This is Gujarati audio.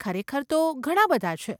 ખરેખર તો ઘણાં બધાં છે.